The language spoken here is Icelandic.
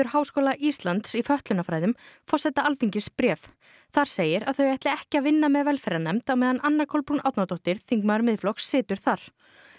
Háskóla Íslands í fötlunarfræðum forseta Alþingis bréf þar segir að þau ætli ekki að vinna með velferðarnefnd á meðan Anna Kolbrún Árnadóttir þingmaður Miðflokks situr þar